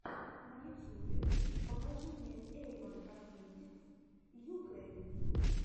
на ютьюбе покажи мне эйвон косметикс юкрэин